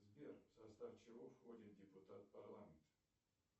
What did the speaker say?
сбер в состав чего входит депутат парламента